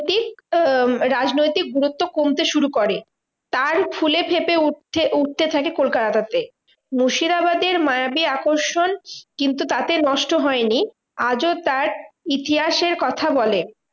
আহ রাজনৈতিক গুরুত্ব কমতে শুরু করে। তার ফুলেফেঁপে উঠে~ উঠতে থাকে কোলকাতাটাতে। মুর্শিদাবাদের মায়াবী আকর্ষণ কিন্তু তাতে নষ্ট হয়নি আজও তার ইতিহাসের কথা বলে।